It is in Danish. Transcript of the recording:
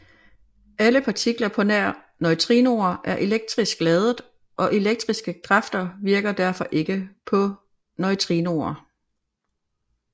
Alle partikler på nær neutrinoer er elektrisk ladede og elektriske kræfter virker derfor ikke på neutrinoer